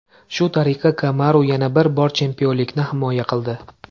Shu tariqa Kamaru yana bir bor chempionlikni himoya qildi.